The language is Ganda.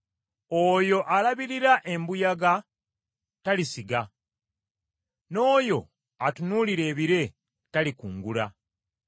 Oyo alabirira embuyaga talisiga; n’oyo atunuulira ebire talikungula.